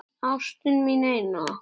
Ástin mín eina.